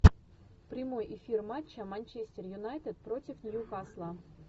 прямой эфир матча манчестер юнайтед против ньюкасла